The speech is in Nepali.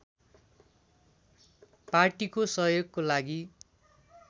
पार्टीको सहयोगको लागि